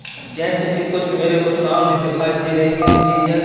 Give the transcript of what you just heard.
जैसे कि कुछ मेरे को सामने दिखाई दे रही हैं चीजें--